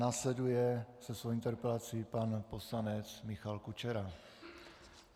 Následuje se svou interpelací pan poslanec Michal Kučera.